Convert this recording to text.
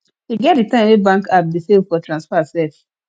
e get di time wey bank app dey fail for transfer sef